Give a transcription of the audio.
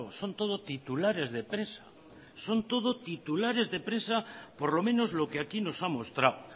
son todo titulares de prensa son todo titulares de prensa por lo menos lo que aquí nos ha mostrado